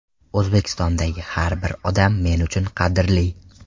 O‘zbekistondagi har bir odam men uchun qadrli.